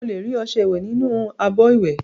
Ó lè rí ọṣẹ ìwẹ nínú abọ ìwẹ